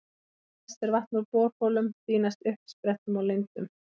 Best er vatn úr borholum, því næst uppsprettum og lindum.